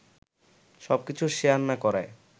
সবকিছু শেয়ার না করায়